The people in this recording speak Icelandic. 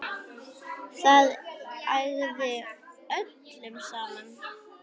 Það ægði öllu saman.